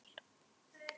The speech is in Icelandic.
Síaði sjórinn fæst á